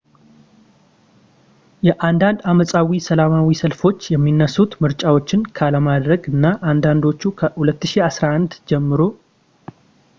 የአንዳንዴ-ዓመፃዊ ሰላማዊ ሰልፎች የሚነሱት ምርጫዎችን ካለማድረግ ነው አንዳንዶቹ ከ2011 ጀምሮ